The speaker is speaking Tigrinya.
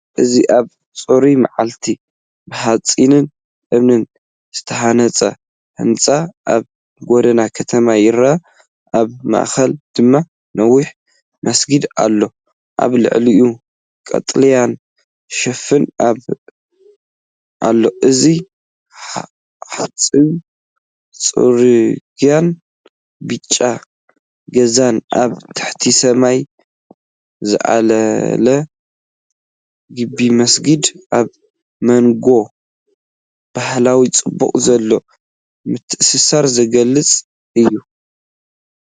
እዚ ኣብ ጽሩይ መዓልቲ፡ብሓጺንን እምንን ዝተሃንጸ ህንጻ ኣብ ጎደና ከተማ ይርአ። ኣብ ማእከል ድማ ነዊሕ መስጊድ ኣሎ፣ ኣብ ልዕሊኡ ቀጠልያ ሽፋን ኣሎ። እዚ ሑጻዊ ጽርግያን ብጫ ገዛን ኣብ ትሕቲ ሰማይ ዝለዓል ግምቢመስጊድን፡ኣብ መንጎ ባህላዊ ጽባቐ ዘሎ ምትእስሳር ዝገልጽእዩ።